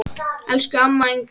Elsku amma Ingunn.